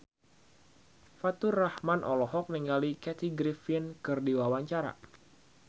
Faturrahman olohok ningali Kathy Griffin keur diwawancara